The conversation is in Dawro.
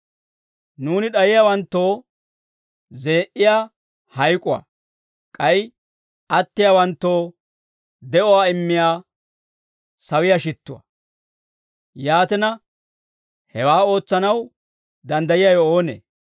Nuuni d'ayiyaawanttoo zee"iyaa hayk'uwaa; k'ay attiyaawanttoo de'uwaa immiyaa sawiyaa shittuwaa; yaatina, hewaa ootsanaw danddayiyaawe oonee?